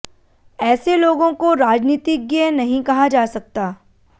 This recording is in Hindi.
ऐसे लोगों को राजनीतिज्ञ नहीं कहा जा सकता